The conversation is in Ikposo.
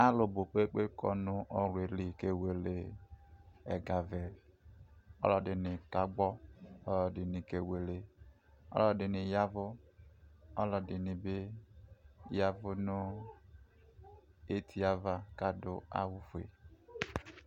alo bo kpekpekpe ɔwle li kewele ɛga vɛ ɔlo ɛdini ka gbɔ ɔlo ɛdini kewele ɔlo ɛdini yavo ɔlo ɛdini bi yavo no etie ava ko ado awu fue